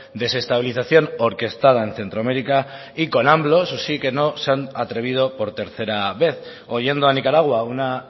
desestabilización orquestada en centroamérica y con eso sí que no se han atrevido por tercera vez oyendo a nicaragua una